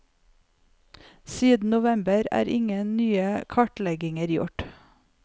Siden november er ingen nye kartlegginger gjort.